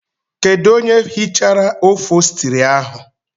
Kedụ onye hichara ofostri ahụ?